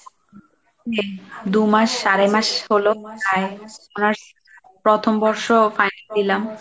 দু'মাস আড়াই মাস হল প্রথম বর্ষ দিলাম final দিলাম।